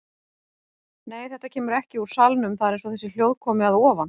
Nei, þetta kemur ekki úr salnum, það er eins og þessi hljóð komi að ofan.